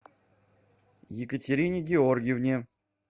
екатерине георгиевне